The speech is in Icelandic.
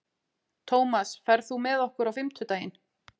Tómas, ferð þú með okkur á fimmtudaginn?